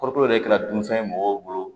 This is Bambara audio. Kɔrɔtɔ yɛrɛ kɛra dunfɛn ye mɔgɔw bolo